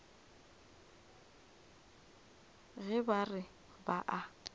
ge ba re ba a